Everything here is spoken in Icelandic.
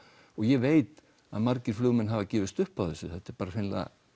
ég veit að margir flugmenn hafa gefist upp á þessu hreinlega